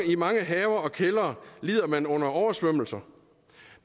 i mange haver og kældre lider man under oversvømmelser